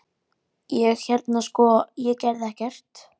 Ég- hérna sko- ég gerði ekkert.